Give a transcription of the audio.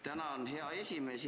Tänan, hea esimees!